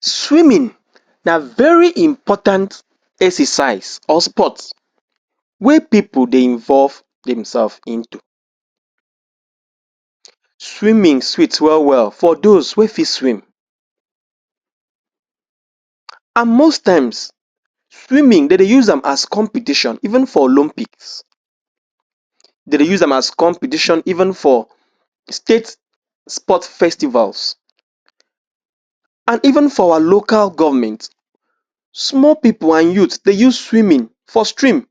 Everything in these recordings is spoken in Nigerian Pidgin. Swimming na very important exercise or sports wey people dey involve themselves into. Swimming sweet well well for those wey fit swim. And most times, swimming dem dey use am as competition even for Olympics. Dem dey use as competition even for state sport festivals and even for our local government. Small people and youth, dey use swimming for stream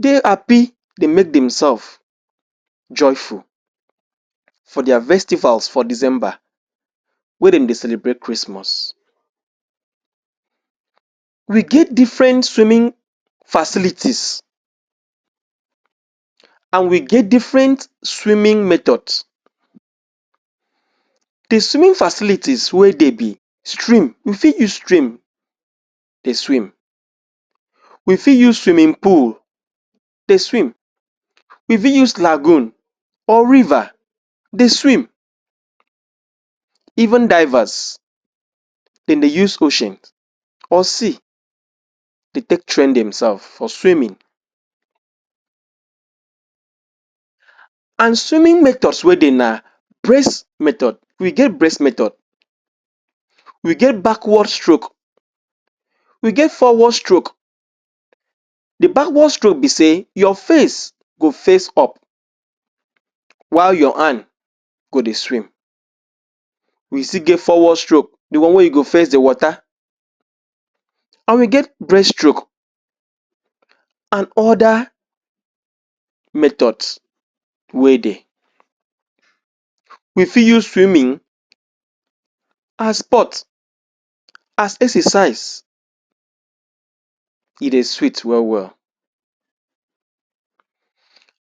dey happy dey make themselves joyful for their festivals for December wey dem dey celebrate Christmas. We get different swimming facilities and we get different swimming methods. The swimming facilities wey dey be stream. We fit use stream dey swim, we fit use swimming pool dey swim, we fit use lagoon or river dey swim. Even divers, dem dey use ocean or sea dey take train themselves for swimming and swimming methods wey dey na breast method. We get breast method, we get backward stroke, we get forward stroke. The backward stroke be say your face go face up while your hand go dey swim. We still get forward stroke, the one wey you go face the water and we get breaststroke and other methods wey dey. We fit use swimming as sports, as exercise. E dey sweet well well.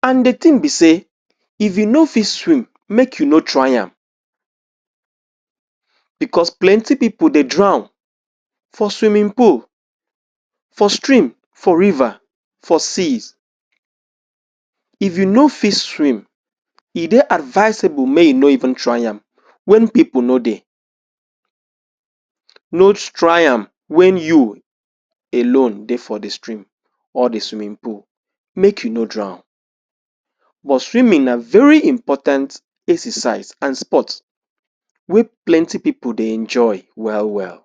And the thing be say if you no fit swim make you no try am because plenty people dey drown for swimming pool, for stream, for river, for seas. If you no fit swim, e dey advisable make you no even try am wen people no dey, no try am wen you alone dey for the stream or the swimming pool make you no drown. But swimming na very important exercise and sport wey plenty people dey enjoy well well.